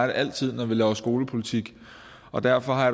det altid når vi laver skolepolitik og derfor har